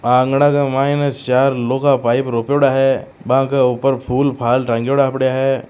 आंगन के माइन चार लो का पाइप रोपेड़ा है बाक ऊपर फूल फाल टगेड़ा पड़ा है।